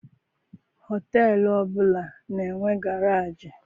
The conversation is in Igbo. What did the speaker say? Họteelụ ọbụla na-enwe garaajị.